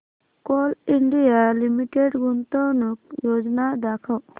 Coal India Limited गुंतवणूक योजना दाखव